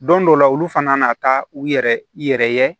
Don dɔw la olu fana na taa u yɛrɛ ye